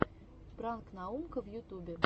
пранк наумка в ютубе